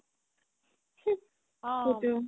অ